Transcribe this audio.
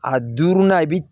A duurunan i bi